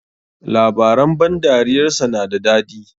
Labaran ban dariyar sa na da dadi.